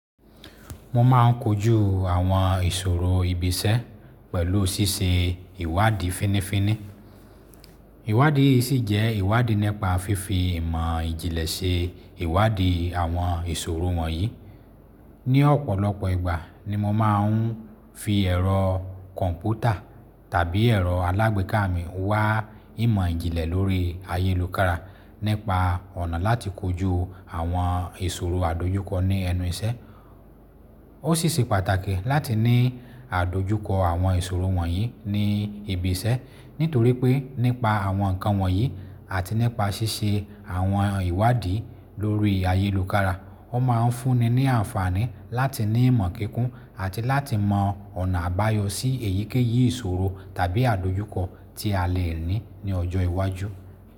Mo ma n kojú àwọn ìṣòro ibi iṣẹ́ pẹ̀lú ṣíṣe ìwádìí fínífíní. Iwádìí yìí ṣì jẹ́ ìwádìí nípa fífi ìmọ̀ ìjìnlẹ̀ ṣe ìwádìí àwọn ìṣòro wọ̀nyí. Ni ọ̀pọ̀lọpọ̀ ìgbà ni mo ma n fi ẹ̀rọ kọ̀m̀pútà tàbí ẹ̀rọ alágbèéká mi wá ìmọ̀ ìjìnlẹ̀ lórí ayélukára nípa ọ̀nà láti kojú àwọn ìṣòro àdojúkọ ní ẹnu iṣẹ́. Ó ṣé ṣe pàtàkì láti ní àdojúkọ àwọn ìṣòro wọ̀nyí ní ibi iṣẹ́, nítorí pé nípa àwọn nǹkan wọ̀nyí àti nípa ṣíṣe àwọn ìwádìí lórí ayélukára, ó ma n fúnni ní ànfàní láti ní ìmọ̀ kíkún àti láti mọ ọ̀nà àbáyọ sí èyíkéyìí ìṣòro tàbí àdojúkọ tí a lè ní ní ọjọ́ iwájú.